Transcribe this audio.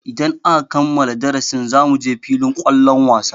Idan aka kammala darasin zamuje filin kwallon wasa.